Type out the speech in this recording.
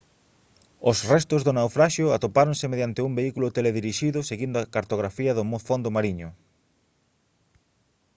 os restos do naufraxio atopáronse mediante un vehículo teledirixido seguindo a cartografía do fondo mariño